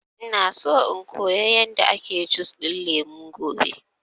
Ina so in koya yanda ake jus ɗin lemu gobe